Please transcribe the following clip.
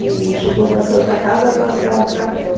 E chegou na Santa Casa, rasgaram o cartão.